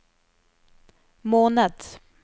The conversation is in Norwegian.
måned